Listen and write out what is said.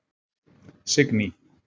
Signý